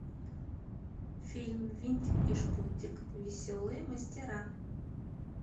фильм винтик и шпунтик веселые мастера